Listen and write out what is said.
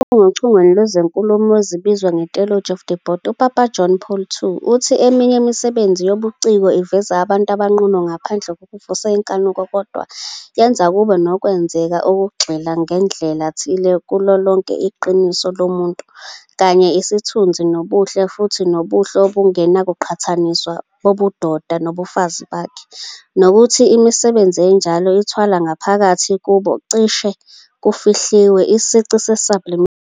Ochungechungeni lwezinkulumo ezibizwa "ngeTheology of the Body", uPapa John Paul II uthi eminye imisebenzi yobuciko iveza abantu abanqunu ngaphandle kokuvusa inkanuko, kodwa "yenza kube nokwenzeka ukugxila, ngandlela thile, kulo lonke iqiniso lomuntu, kanye isithunzi nobuhle - futhi nobuhle 'obungenakuqhathaniswa' - bobudoda nobufazi bakhe ", nokuthi imisebenzi enjalo" ithwala ngaphakathi kubo, cishe kufihliwe, isici se-sublimation ".